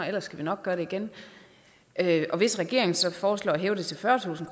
ellers skal vi nok gøre det igen og hvis regeringen så foreslår at hæve det til fyrretusind